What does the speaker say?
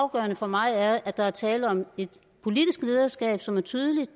afgørende for mig er at der er tale om et politisk lederskab som er tydeligt